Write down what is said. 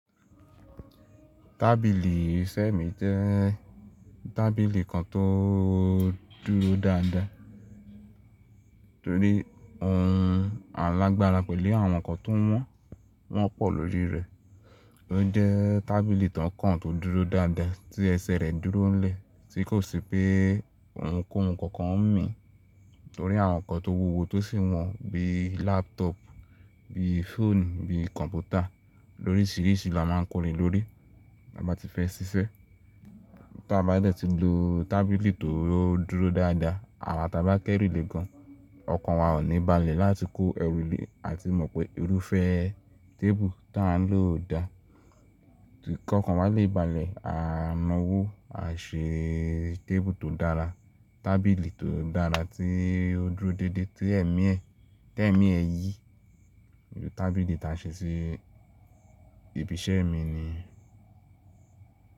Tábìlì iṣẹ́ mi jẹ́ tábìlì kan tó dúró dáadáa torí ohun alágbára pẹ̀lú àwọn nǹkan tó wọ́n, wọ́n pọ̀ lórí rẹ̀. Ó jẹ́ tábìlì tàn kan tó dúró dáadáa tí ẹsẹ̀ rẹ̀ dúró ńlẹ̀, tí kò sí pé ohunkóhun kankan ń mì torí àwọn nǹkan tó wúwo tó sì wọ́n bíi lápútọ̀ọ̀pù, bíi fóònù, bíi kọ̀m̀pútà, lóríṣìíríṣìí la má a ń ko le lórí, ta bá ti fẹ́ sisẹ́. Tí a bá dẹ̀ tí lo tábìlì tó dúró dáadáa àwa tàba kẹ́ru lè gan, ọkàn wa ò ní balẹ̀ láti kó ẹrù lé a ti mọ̀ pé irúfẹ́ tébù tí à ń lò dà. Kí ọkàn wa lè balẹ̀, a na wó a ṣe tébù tó dára, tábìlì tó dára tí ó dúró dédé tí ẹ̀mí ẹ, tí ẹ̀mí ẹ yí. Tábìlì tí a ṣe sí ibi iṣẹ́ mi ni.